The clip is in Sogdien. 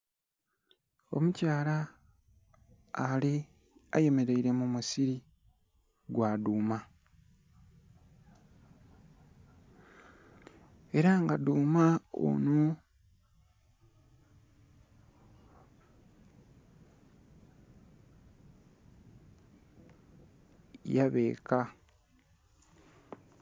Omukyala ali, ayemeleile mu musili gwa dhuuma. Ela nga dhuuma onho yabeeka.